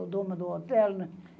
O dono do hotel, né?